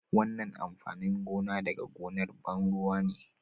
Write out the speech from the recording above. wannan amfanin gona daga gonar ban ruwa ne